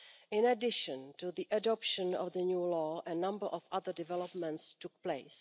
In addition to the adoption of the new law, a number of other developments took place.